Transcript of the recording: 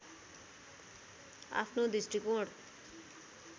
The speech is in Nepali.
आफ्नो दृष्टिकोण